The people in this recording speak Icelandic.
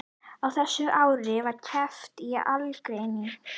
Á þessum árum var kreppan í algleymingi.